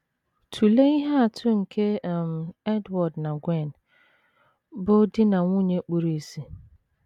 Tụlee ihe atụ nke um Edward na Gwen, bụ́ di na nwunye kpuru ìsì.